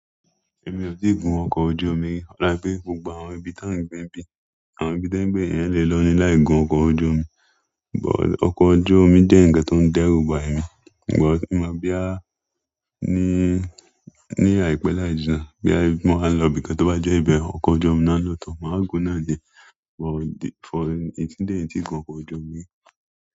Èmi ò tí ì gun ọkọ̀ ojú omi, rárá pé gbogbo àwọn ibi tí à ń gbé bí, àwọn ibi tí ń gbé yẹn lè lọ ní láì gun ọkọ̀ ojú omi. Òkò ojú omi jẹ́ ǹkan tó ń dẹ́rùbà èmi, ìgbà tí mo bá bíá ní, ní àìpé láìjínà, bí à mo máa ń lọ ibìkan tó bá jẹ́ ibẹ̀, ọkọ̀ ojú omi náà ni òótọ́ màá gun náà ni. But for the, it's the, it's the gun ọkọ̀ ojú omi.